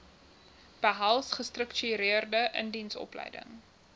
behels gestruktureerde indiensopleiding